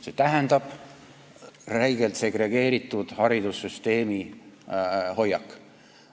See tähendab räigelt segregeeritud haridussüsteemi pooldavat hoiakut.